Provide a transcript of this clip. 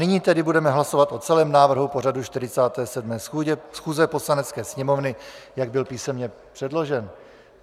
Nyní tedy budeme hlasovat o celém návrhu pořadu 47. schůze Poslanecké sněmovny, jak byl písemně předložen.